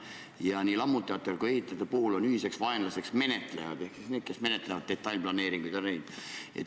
Ja lammutajate ning ehitajate puhul on ühiseks vaenlaseks menetlejad ehk siis need, kes menetlevad detailplaneeringuid.